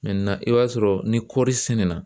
i b'a sɔrɔ ni kɔɔri sɛnɛ na